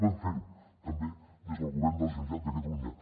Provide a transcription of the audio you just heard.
podem ferho també des del govern de la generalitat de catalunya